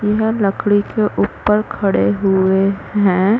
यह लकड़ी के ऊपर खड़े हुए है।